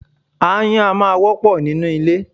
Aáyán a máa wọ́pọ̀ nínú ilé.